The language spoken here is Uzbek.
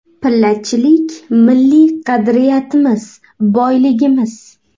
Pillachilik milliy qadriyatimiz, boyligimiz.